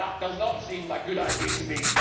That does not seem like a good idea to me.